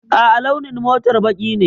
A'a, launin motar baƙi ne.